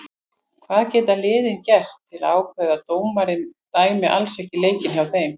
Hvað geta liðin gert til að ákveðin dómari dæmi alls ekki leiki hjá þeim?